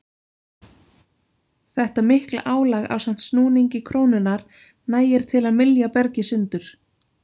Þetta mikla álag ásamt snúningi krónunnar nægir til að mylja bergið sundur.